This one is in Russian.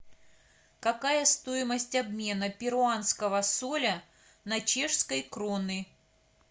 какая стоимость обмена перуанского соля на чешской кроны